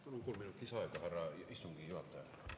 Palun kolm minutit lisaaega, härra istungi juhataja!